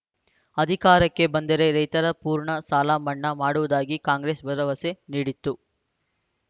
ಅಧಿಕಾರಕ್ಕೆ ಬಂದರೆ ರೈತರ ಪೂರ್ಣ ಸಾಲ ಮನ್ನಾ ಮಾಡುವುದಾಗಿ ಕಾಂಗ್ರೆಸ್‌ ಭರವಸೆ ನೀಡಿತ್ತು